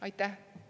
Aitäh!